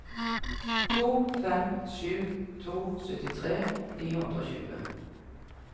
to fem sju to syttitre ni hundre og tjue